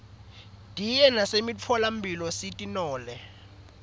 diye nasemitfola mphilo sitinole